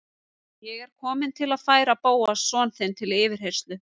Ég er kominn til að færa Bóas son þinn til yfirheyrslu